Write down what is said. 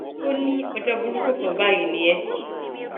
ó ní ọjọ burúkú kan báyìí ni ẹ